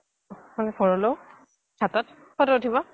ভৰলু ঘাটত photo উঠিব